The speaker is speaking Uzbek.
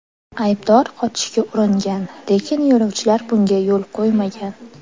Aybdor qochishga uringan, lekin yo‘lovchilar bunga yo‘l qo‘ymagan.